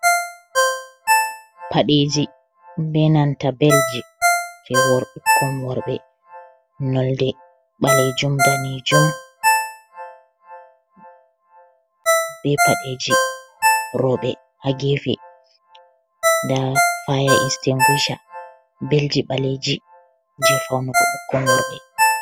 Paɗeji be nanta belji je wor ɓukkon worɓe nolde ɓalejum danijum be paɗeji roɓɓe ha gefe nda fya istinguisa belji ɓaleji je faunugo ɓukkon worɓe.